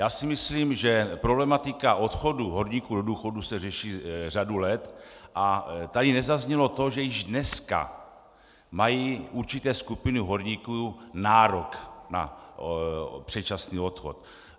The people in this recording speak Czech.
Já si myslím, že problematika odchodů horníků do důchodu se řeší řadu let a tady nezaznělo to, že již dneska mají určité skupiny horníků nárok na předčasný odchod.